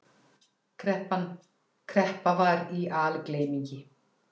Kreppa var í algleymingi.